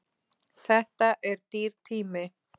Þetta er dýr tími.